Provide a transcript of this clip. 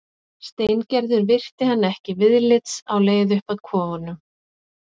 Steingerður virti hann ekki viðlits á leið upp að kofunum.